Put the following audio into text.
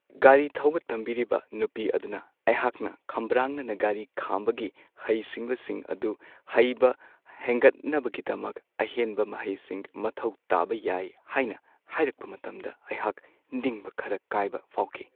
ꯒꯥꯔꯤ ꯊꯧꯕ ꯇꯝꯕꯤꯔꯤꯕ ꯅꯨꯄꯤ ꯑꯗꯨꯅ ꯑꯩꯍꯥꯛꯅ ꯈꯝꯕ꯭ꯔꯥꯡꯅꯅ ꯒꯥꯔꯤ ꯈꯥꯝꯕꯒꯤ ꯍꯩꯁꯤꯡꯕꯁꯤꯡ ꯑꯗꯨ ꯍꯩꯕ ꯍꯦꯟꯒꯠꯅꯕꯒꯤꯗꯃꯛ ꯑꯍꯦꯟꯕ ꯃꯍꯩꯁꯤꯡ ꯃꯊꯧ ꯇꯥꯕ ꯌꯥꯏ ꯍꯥꯏꯅ ꯍꯥꯏꯔꯛꯄ ꯃꯇꯝꯗ ꯑꯩꯍꯥꯛ ꯅꯤꯡꯕ ꯈꯔ ꯀꯥꯏꯕ ꯐꯥꯎꯈꯤ ꯫